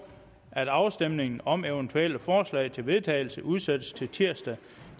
at afstemning om eventuelle forslag til vedtagelse udsættes til tirsdag